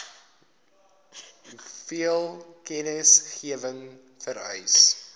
hoeveel kennisgewing vereis